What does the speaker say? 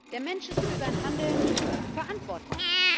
Der Mensch ist für sein Handeln verantwortlich.